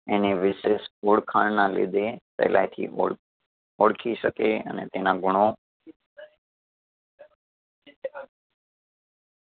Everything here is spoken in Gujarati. એને વિશેષ ઓળખાણના લીધે પેલેથી ઓળ ઓળખી શકે અને તેના ગુણો